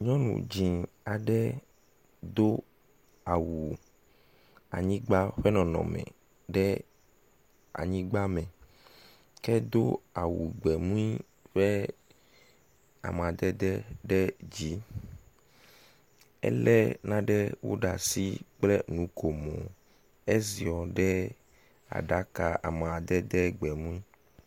Nyɔnu dzɛ̃ aɖe do awu anyigba ƒe nɔnɔme ɖe anyigba me ke edo awu gbemu ƒe amadede ɖe dzi. Elé nanewo ɖe asi kple nukomo, eziɔ ɖe aɖaka amadede gbemu.